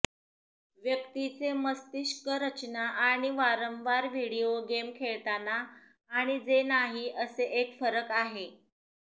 व्यक्तीचे मस्तिष्क रचना आणि वारंवार व्हिडिओ गेम खेळताना आणि जे नाही असे एक फरक आहे